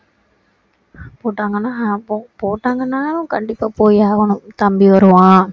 போட்டாங்கன்னா அப்போ போட்டாங்கன்னா கண்டிப்பா போய் ஆகணும் தம்பி வருவான்